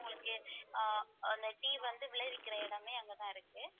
உங்களுக்கு ஆஹ் அந்த tea வந்து விளைவிக்கிற இடமே அங்கதான் இருக்கு